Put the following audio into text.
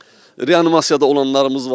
Reanimasiyada olanlarımız var.